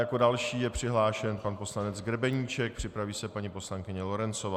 Jako další je přihlášen pan poslanec Grebeníček, připraví se paní poslankyně Lorencová.